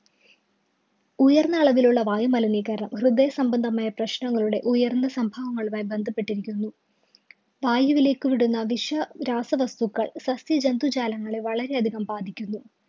ഉയര്‍ന്ന അളവിലുള്ള വായുമലിനീകരണം ഹൃദയ സംബന്ധമായ പ്രശ്നങ്ങളുടെ ഉയര്‍ന്ന സംഭവങ്ങളുമായി ബന്ധപ്പെട്ടിരിക്കുന്നു. വായുവിലേക്ക് വിടുന്ന വിഷരാസവസ്തുക്കള്‍ സസ്യജന്തുജാലങ്ങളെ വളരെയധികം ബാധിക്കുന്നു.